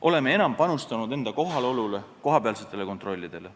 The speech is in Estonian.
Oleme enam panustanud enda kohalolule, kohapealsetele kontrollidele.